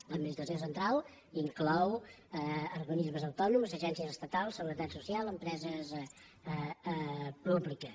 l’administració central inclou organismes autònoms agències estatals seguretat social empreses públiques